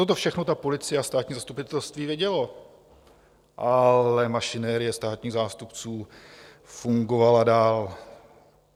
Toto všechno ta policie a státní zastupitelství vědělo, ale mašinerie státních zástupců fungovala dál.